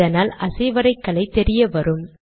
இதனால் அசைவரைகலை தெரிய வரும்